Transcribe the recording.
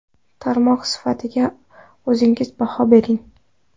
Tarmoq sifatiga o‘zingiz baho bering.